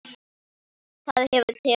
Það hefur tekist hingað til.